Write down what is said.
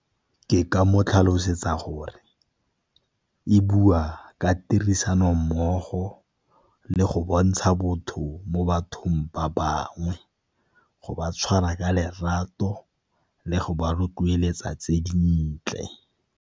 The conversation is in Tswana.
Ke ka mo tlhalosetsa gore e bua ka tirisanommogo le go bontsha botho mo bathong ba bangwe, go ba tshwara ka lerato le go ba rotloeletsa tse dintle.